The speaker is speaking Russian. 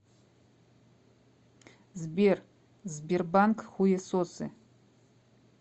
сбер сбербанк хуесосы